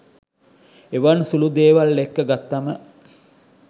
එවන් සුලු දේවල් එක්ක ගත්තම